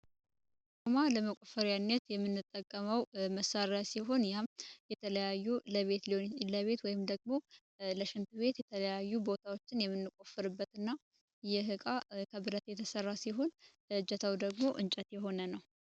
አዷማ ለመቆፈሪያነት የምንጠቀመው መሳሪያ ሲሆን ያም የተለያዩ ለቤት ለቤት ወይም ደግሞ ለሽንት ቤት የተለያዩ ቦታዎችን የምንቆፍርበትና ይህቃ ከብረት የተሠራ ሲሆን እጀታው ደግሞ እንጨት የሆነ ነው።